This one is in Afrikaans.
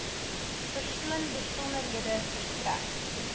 persoon besonderhede verstrek